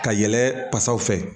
Ka yɛlɛ basaw fɛ